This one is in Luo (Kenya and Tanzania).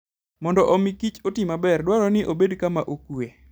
Mondo omi kich oti maber, dwarore ni obed kama okuwe.